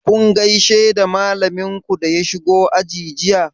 Kun gaishe da malamin ku da ya shigo aji jiya?